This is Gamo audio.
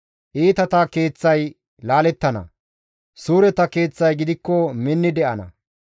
Iitata keeththay laalettana; suureta keeththay gidikko minni de7ana.